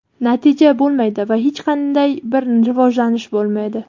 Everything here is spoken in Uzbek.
natija bo‘lmaydi va hech qanday bir rivojlanish bo‘lmaydi.